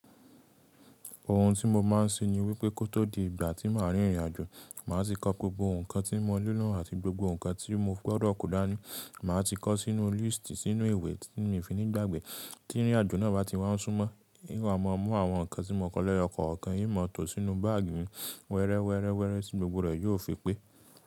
Ohun tí mo máa ń ṣe ni wípé kó tó di ìgbà tí màá rìn ìrìnàjò, màá ti kọ gbogbo ǹkan tí mo ní na àti gbogbo ǹkan tí mo gbọdọ̀ kò dání, màá ti kọ sínú líísítì, sínú ìwé tí mi o fi ńi gbàgbè. Tí ìrìnàjò náà bá ti wá n súnmọ́, n wàá máa mú àwọn ǹkan tí mo kọ lẹ́yọkọ̀ọ̀kan, n ma tò sínú báàgì mi wẹ́rẹ́wẹ́rẹ́wẹ́rẹ́ tí gbogbo rẹ̀ yóò fi pé.